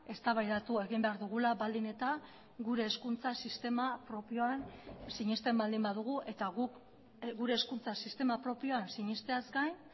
eztabaidatu egin behar dugula baldin eta gure hezkuntza sistema propioan sinesten baldin badugu eta guk gure hezkuntza sistema propioan sinesteaz gain